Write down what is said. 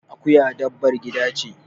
Akuya dabbar gida ce.